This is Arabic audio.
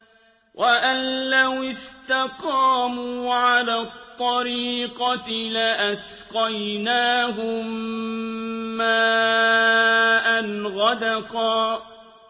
وَأَن لَّوِ اسْتَقَامُوا عَلَى الطَّرِيقَةِ لَأَسْقَيْنَاهُم مَّاءً غَدَقًا